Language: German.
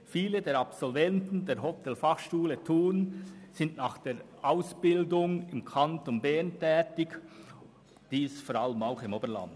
Viele Absolventen der Hotelfachschule Thun sind nach der Ausbildung im Kanton Bern tätig, insbesondere im Oberland.